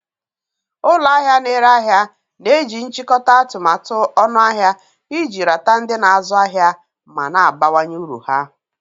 Ụlọ ahịa na-ere ahịa na-eji nchikota atụmatụ ọnụahịa iji rata ndị na-azụ ahịa ma na-abawanye uru ha.